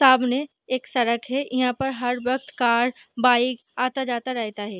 सामने एक सड़क है यहाँ पर हर वक्त कार बाइक आता जाता रहता है।